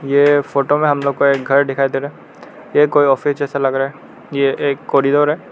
ये फोटो में हम लोग को एक घर दिखाई दे रहा है ये कोई ऑफिस जैसा लग रहा है ये एक कॉरिडोर है।